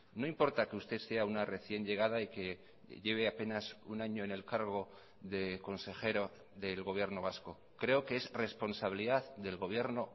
no importa que usted sea una recién llegada y que lleve apenas un año en el cargo de consejero del gobierno vasco creo que es responsabilidad del gobierno